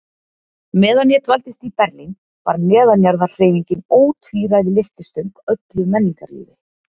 Meðan ég dvaldist í Berlín var neðanjarðarhreyfingin ótvíræð lyftistöng öllu menningarlífi.